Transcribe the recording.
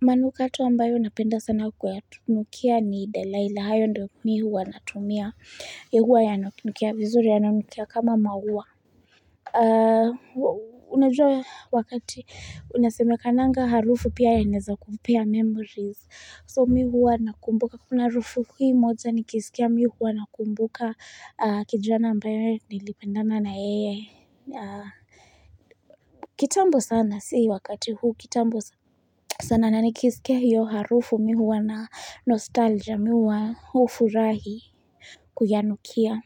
manukato ambayo napenda sana kwa tunukia ni Delayla, hayo ndo mimi huwa natumia Yehuwa ya anukinukia vizuri ya anukinukia kama mauwa A unajua wakati unasemekananga harufu pia yanaeza kupea memories so mimi huwa nakumbuka kuna harufu hii moja nikisikia mimi huwa nakumbuka kijana ambayo nilipendana na yeye kitambo sana sii wakati huu kitambo sana sana nanikisiskia hiyo harufu mimi huwa na nostalgia mi huwa furahi kuyanukia.